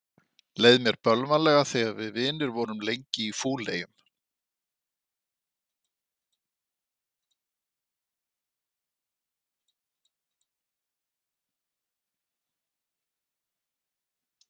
Leið mér bölvanlega þegar við vinir vorum lengi í fúleyjum.